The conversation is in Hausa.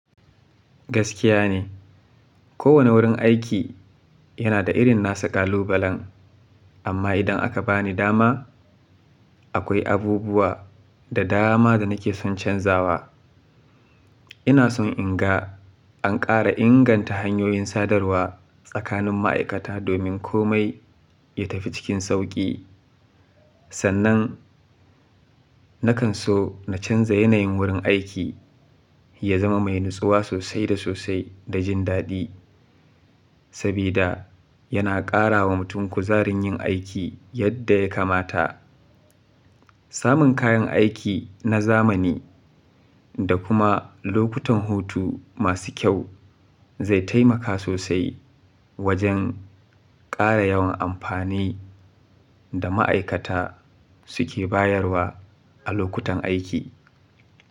Gaskiya ne, kowane wurin aiki yana da irin nasa ƙalubalen amma idan aka bani dama akwai abubuwa da dama da nake son canzawa. Ina son in ga an ƙara inganta hanyoyin sadarwa tsakanin ma'aikata domin kome ya tafi cikin sauƙi. Sannan, nakan so na canza yanayin wurin aiki ya zama mai natsuwa sosai da sosai da jin daɗi saboda yana ƙara wa mutum kuzarin yin aiki yadda ya kamata. Samun kayan aiki na zamani da kuma lokutan hutu masu kyau zai taimaka sosai wajen ƙara yawan amfani da ma'aikata suke bayarwa a lokutan aiki.